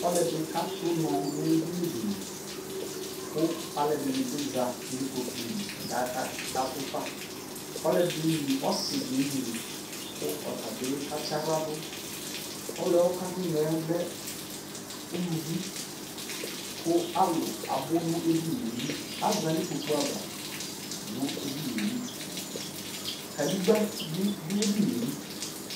Ɔlɔdi ka du nɔ nu ɛdini di li ku alu ɛdini bi za nu ikpoku li ka du Ku ɔsi di ɛmli kʋ ɔta bi ɔka tsa ɣla duƆlu yɛ ka tsa ɣla du yɛ l ɛ uluvi alu abu nu ɛdini yɛ li Aza nu ikpo kuava ava nu ɛdinu yɛ li Kadegba bi du ɛdini yɛ li